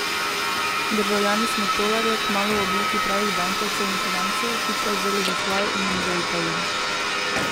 Državljani smo tolarje, kmalu v obliki pravih bankovcev in kovancev, hitro vzeli za svoje in jim zaupali.